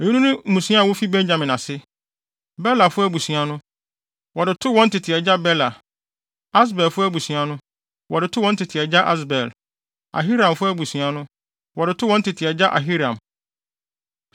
Eyinom ne mmusua a wofi Benyamin ase. Belafo abusua no, wɔde too wɔn tete agya Bela; Asbelfo abusua no, wɔde too wɔn tete agya Asbel; Ahiramfo abusua no, wɔde too wɔn tete agya Ahiram;